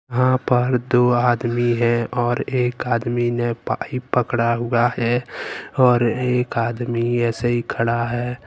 यहां पर दो आदमी है और एक आदमी ने पाइप पकड़ा हुआ है और एक आदमी ऐसे ही खड़ा है।